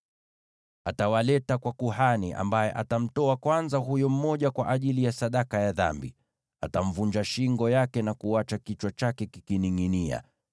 Atawaleta kwa kuhani, ambaye atamtoa kwanza ndege mmoja kwa ajili ya sadaka ya dhambi. Atamvunja shingo na kuacha kichwa chake kikiningʼinia,